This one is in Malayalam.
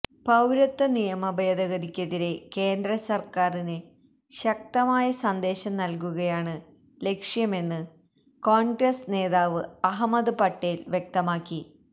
പൌരത്വ നിയമഭേദഗതിക്കെതിരെ കേന്ദ്രസർക്കാരിന് ശക്തമായ സന്ദേശം നൽകുകയാണ് ലക്ഷ്യമെന്ന് കോൺഗ്രസ് നേതാവ് അഹമ്മദ് പട്ടേൽ വ്യക്തമാക്കി